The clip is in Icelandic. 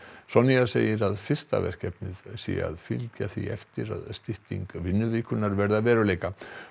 Sonja segir að fyrsta verkefnið sé að fylgja því eftir að stytting vinnuvikunnar verði að veruleika